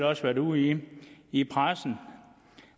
også været ude i i pressen